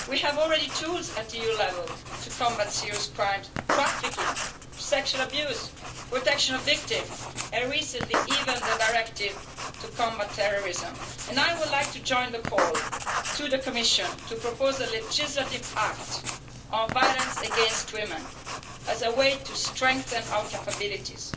We already have tools at EU level to deal with serious crimes, trafficking, sexual abuse, protection of victims, and recently even the directive to combat terrorism. I would like to join the call to the Commission to propose a legislative act on violence against women as a way to strengthen our capabilities.